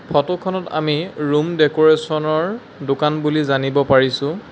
Photo খনত আমি room decoration ৰ দোকান বুলি জানিব পাৰিছোঁ।